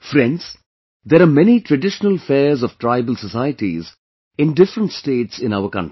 Friends, there are many traditional fairs of tribal societies in different states in our country